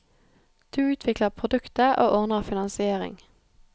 Du utvikler produktet, og ordner finansiering.